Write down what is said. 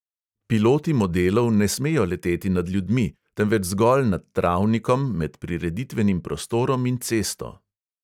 Piloti modelov ne smejo leteti nad ljudmi, temveč zgolj nad travnikom med prireditvenim prostorom in cesto.